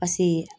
Paseke